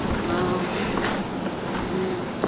ஆஹ் ஹம் ஹம் ஆஹ்